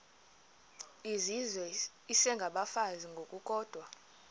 izizwe isengabafazi ngokukodwa